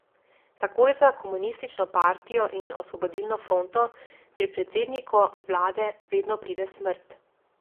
Takoj za komunistično partijo in Osvobodilno fronto pri predsedniku vlade vedno pride smrt.